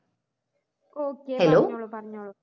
okay പറഞ്ഞോളു പറഞ്ഞോളൂ